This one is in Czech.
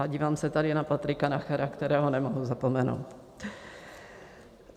A dívám se tady na Patrika Nachera, kterého nemohu zapomenout.